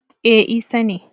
e Isa ne